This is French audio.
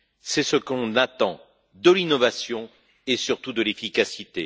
C'est ce qu'on attend, de l'innovation et surtout de l'efficacité.